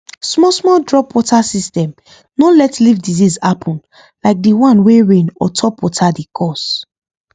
small small drop water system no let leaf disease happen like the one wey rain or top water dey cause